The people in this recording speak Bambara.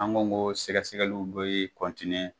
An ko ko sɛgɛsɛgɛliw bɛ